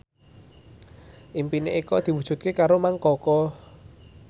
impine Eko diwujudke karo Mang Koko